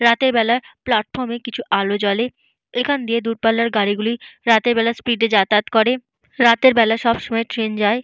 রাতের বেলা প্লাটফর্ম এ কিছু আলো জ্বলে। এখান দিয়ে দূরপাল্লার গাড়িগুলি রাতের বেলা স্পিড এ যাতায়াত করে। রাতের বেলা সবসময় ট্রেন যায়।